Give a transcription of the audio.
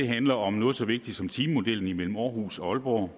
handler om noget så vigtigt som timemodellen imellem aarhus og aalborg og